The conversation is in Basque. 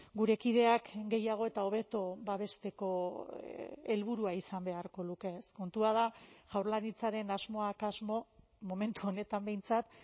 gure kideak gehiago eta hobeto babesteko helburua izan beharko luke ez kontua da jaurlaritzaren asmoak asmo momentu honetan behintzat